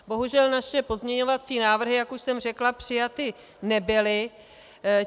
Bohužel naše pozměňovací návrhy, jak už jsem řekla, přijaty nebyly.